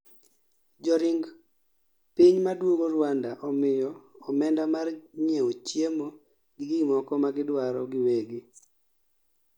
joring ping maduogo Ruanda imiyo omenda mar nyiewo chiemo gi gimoko magidwaro giwegi